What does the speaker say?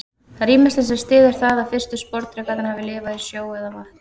Það er ýmislegt sem styður það að fyrstu sporðdrekarnir hafi lifað í sjó eða vatni.